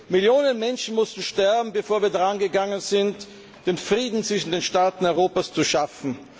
Millionen Menschen mussten sterben, bevor wir daran gegangen sind, Frieden zwischen den Staaten Europas zu schaffen.